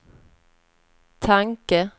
tanke